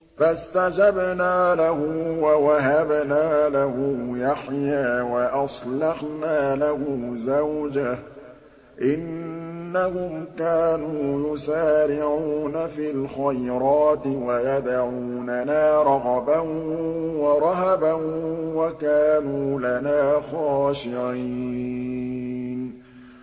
فَاسْتَجَبْنَا لَهُ وَوَهَبْنَا لَهُ يَحْيَىٰ وَأَصْلَحْنَا لَهُ زَوْجَهُ ۚ إِنَّهُمْ كَانُوا يُسَارِعُونَ فِي الْخَيْرَاتِ وَيَدْعُونَنَا رَغَبًا وَرَهَبًا ۖ وَكَانُوا لَنَا خَاشِعِينَ